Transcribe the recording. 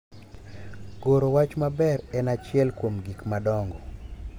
Goro wach maber en achiel kuom gik madongo